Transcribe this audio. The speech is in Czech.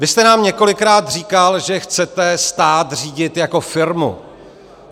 Vy jste nám několikrát říkal, že chcete stát řídit jako firmu.